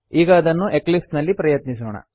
ಈಗ ಇದನ್ನು ಎಕ್ಲಿಪ್ಸ್ ನಲ್ಲಿ ಪ್ರಯತ್ನಿಸೋಣ